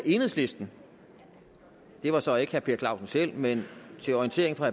enhedslisten det var så ikke herre per clausen selv men til orientering for